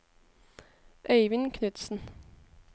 Øivind Knutsen